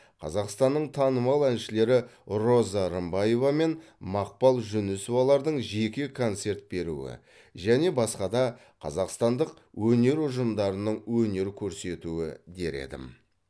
қазақстанның танымал әншілері роза рымбаева мен мақпал жүнісовалардың жеке концерт беруі және басқа да қазақстандық өнер ұжымдарының өнер көрсетуі дер едім